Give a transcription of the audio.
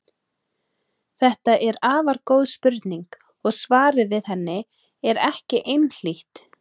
Þetta er afar góð spurning og svarið við henni er ekki einhlítt.